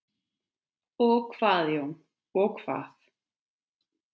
Og hvað Jón, og hvað?